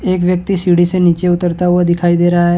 एक व्यक्ति सीढ़ी से नीचे उतरता हुआ दिखाई दे रहा हैं।